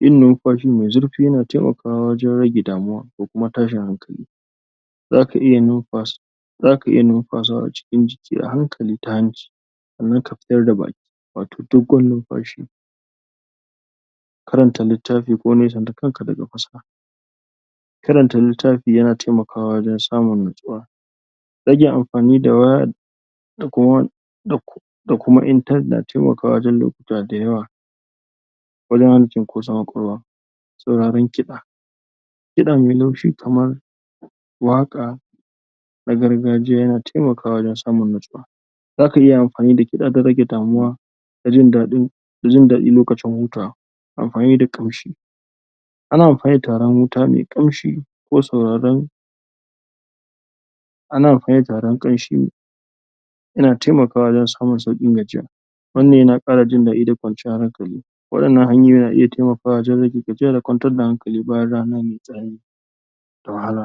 yin numfashi mai zurfi yana taimakawa wajen rage damuwa ko kuma tashin hankali zaka iya nunfasa zaka iya numfasawa cikin jiki a hankali ta hanci sannan ka fitar da baki wato dogon numfashi karanta littafi ko nesanta kanka daga kusa karanta littafi yana taimakawa wajen samun natsuwa rage amfani da waya da kuma? da kuma intanet na taimakawa lokutawa da waya? saurarin kiɗa kiɗa mai laushi kamar waƙa na gargajiya yana taimakawa wajen samun natsuwa zaka iya amfani da kiɗa don rage damuwa da jin daɗin da jin daɗi lokacin hutawa ampani da ƙamshi ana amfani da tiraren wuta mai ƙamshi ko sauraron ana amfani da tiraren ƙamshi yana taimakawa wajen samun sauƙin gajiya wannan yana ƙara jin daɗi da kwanciyan hankali waɗannan hanyoyi na iya taimakawa wajen rage gajiya da kwantar da hankali bayan rana mai tsanani da wahala